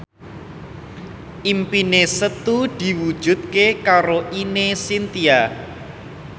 impine Setu diwujudke karo Ine Shintya